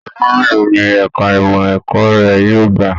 Ọdún mélòó ní ẹka ìmọ ẹ̀kọ́ rẹ yóò gbà?